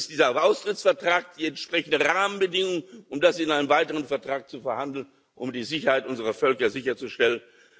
Dafür setzt dieser Austrittsvertrag die entsprechenden Rahmenbedingungen, um das in einem weiteren Vertrag zu verhandeln, um die Sicherheit unserer Völker sicherzustellen.